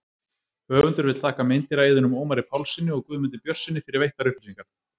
Höfundur vill þakka meindýraeyðunum Ómari Pálssyni og Guðmundi Björnssyni fyrir veittar upplýsingar.